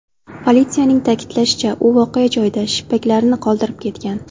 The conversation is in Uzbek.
Politsiyaning ta’kidlashicha, u voqea joyida shippaklarini qoldirib ketgan.